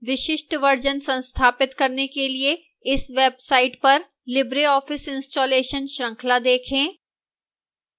विशिष्ट version संस्थापित करने के लिए इस website पर libreoffice installation श्रृंखला देखें